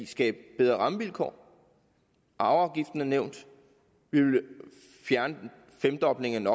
skabe bedre rammevilkår arveafgiften er nævnt vi vil fjerne femdoblingen